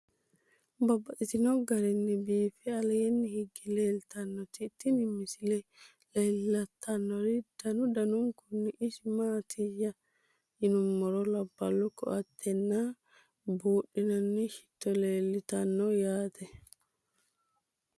Babaxxittinno garinni biiffe aleenni hige leelittannotti tinni misile lelishshanori danu danunkunni isi maattiya yinummoro labbalu koatte nna buudhinaanni shitto leelittanno yaatte